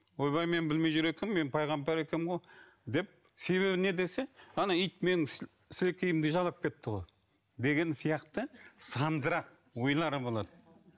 ойбай мен білмей жүр екенмін мен пайғамбар екенмін ғой деп себебі не десе ана ит менің сілекейімді жалап кетті ғой деген сияқты сандырақ ойлары болады